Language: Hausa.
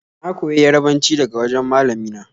Na koyi Yarabanci daga wajen malami na